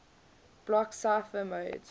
block cipher modes